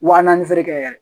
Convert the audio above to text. Wa naani feere kɛ yɛrɛ